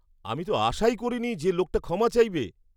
আমি তো আশাই করিনি যে লোকটা ক্ষমা চাইবে!